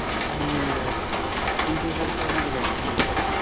आणि पिंपरी चिंचवडमध्ये घ्यायचं म्हटलं तर?